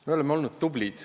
Me oleme olnud tublid.